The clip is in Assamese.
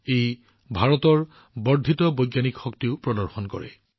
ই ভাৰতৰ বৰ্ধিত বৈজ্ঞানিক দক্ষতাও প্ৰদৰ্শন কৰে